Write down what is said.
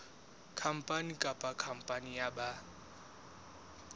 khampani kapa khampani ya ba